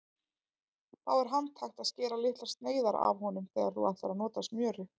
Þá er handhægt að skera litlar sneiðar af honum þegar þú ætlar að nota smjörið.